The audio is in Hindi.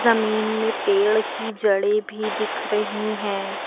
जमीन में पेड़ की जड़ें भी दिख रही हैं।